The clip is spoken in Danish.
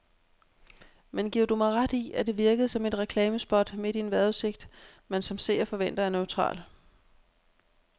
Men giver du mig ret i, at det virkede som et reklamespot midt i en vejrudsigt, man som seer forventer er neutral.